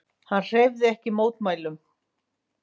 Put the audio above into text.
Hann hreyfði ekki mótmælum.